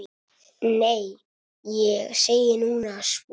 Nei, ég segi nú svona.